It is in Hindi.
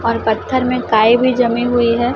और पत्थर में काई भी जमी हुई है।